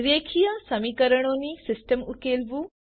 રેખીય સમીકરણો ની સિસ્ટમ ઉકેલવું